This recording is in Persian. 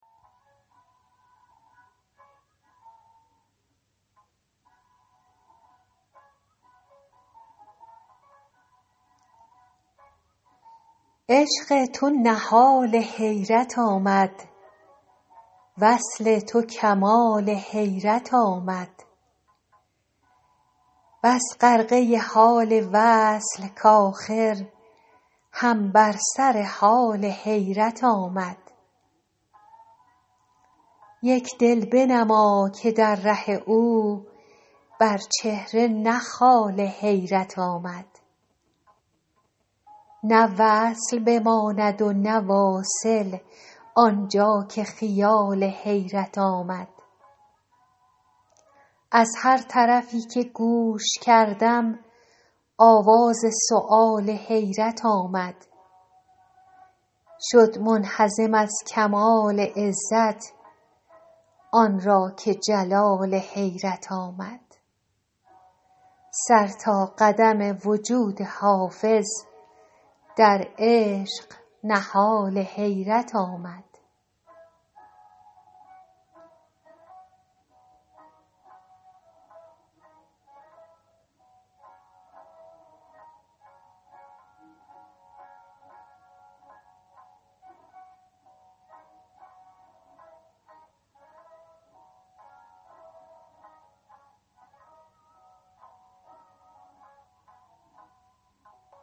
عشق تو نهال حیرت آمد وصل تو کمال حیرت آمد بس غرقه حال وصل کآخر هم بر سر حال حیرت آمد یک دل بنما که در ره او بر چهره نه خال حیرت آمد نه وصل بماند و نه واصل آن جا که خیال حیرت آمد از هر طرفی که گوش کردم آواز سؤال حیرت آمد شد منهزم از کمال عزت آن را که جلال حیرت آمد سر تا قدم وجود حافظ در عشق نهال حیرت آمد